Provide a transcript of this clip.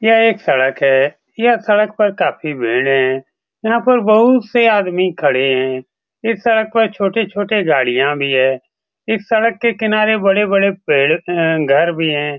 यह एक सड़क है। यह सड़क पर काफी भीड़ है। यहाँ पर बहुत से आदमी खड़े है। इस सड़क पर छोटे-छोटे गाड़िया भी है। इस सड़क के किनारे बड़े-बड़े पेड़ अ घर भी है।